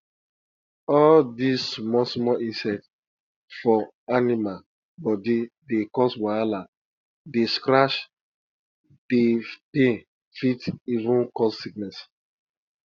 all di small small insect for animal body dey cause wahala dey scratch dey pain fit even cause sickness